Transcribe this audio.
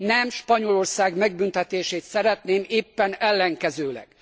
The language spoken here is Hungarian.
Nem Spanyolország megbüntetését szeretném, éppen ellenkezőleg!